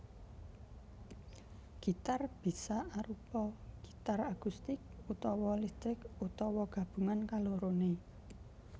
Gitar bisa arupa gitar akustik utawa listrik utawa gabungan kaloroné